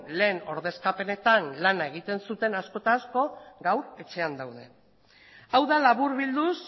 lehen ordezkapenetan lana egiten zuten askok eta askok gaur etxean daude hau da laburbilduz